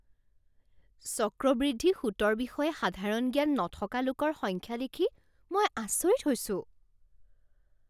চক্ৰবৃদ্ধি সুতৰ বিষয়ে সাধাৰণ জ্ঞান নথকা লোকৰ সংখ্যা দেখি মই আচৰিত হৈছো।